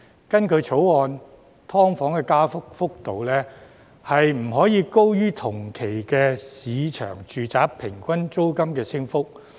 根據《條例草案》，"劏房"的加幅幅度不可以高於同期市場住宅平均租金的升幅。